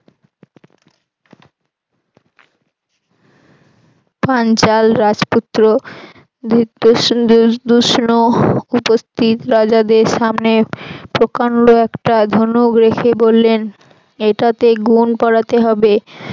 পাঞ্চাল রাজপুত্র উপস্থিত রাজাদের সামনে প্রকান্ড একটা ধনুক রেখে বললেন এটাতে গুন পড়াতে হবে।